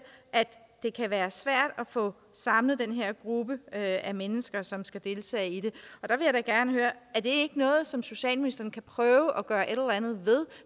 at det kan være svært at få samlet den her gruppe af mennesker som skal deltage i det og gerne høre er det ikke noget som socialministeren kan prøve at gøre et eller andet ved